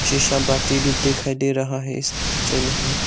भी दिखाई दे रहा हैं इस पिक्चर में हमें।